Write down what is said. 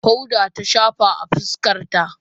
powder ta shafa a fuskarta